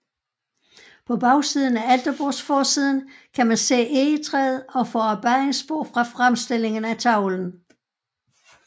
På bagsiden af alterbordsforsiden kan man se egetræet og forarbejdningsspor fra fremstillingen af tavlen